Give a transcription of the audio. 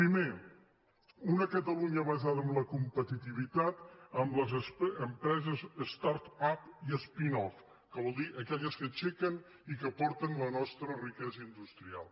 pri·mer una catalunya basada en la competitivitat amb les empreses start upque aixequen i que aporten la nostra riquesa indus·trial